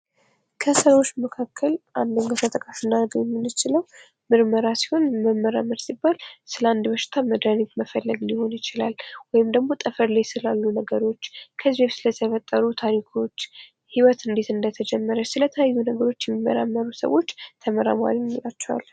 ከስራዎች መካከል አንደኛው ተጠቃሽ ልናረገው የምንችለው ምርመራ ሲሆን መመራመር ሲባል ስለ አንድ በሽታ መድሃኒት መፈለግ ሊሆን ይችላል ወይም ደግሞ ጠፈር ላይ ስላሉ ነገሮች ከዚ በፊት ስለተፈጠሩ ታሪኮች ሕይወት እንዴት እንደተጀመረች ስለተለያዩ ነገሮች የሚመራመሩ ሰዎች ተመራማሪ እንላቸዋለን::